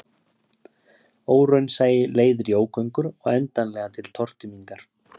Óraunsæi leiðir í ógöngur og endanlega til tortímingar